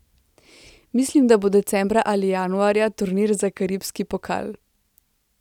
Mislim, da bo decembra ali januarja turnir za karibski pokal.